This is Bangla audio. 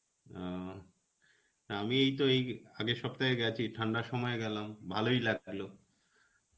ও, আমি এই তো এই আগের সপ্তাহে গেছি. ঠান্ডার সময় গেলাম. ভালোই লাগলো.